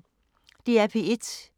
DR P1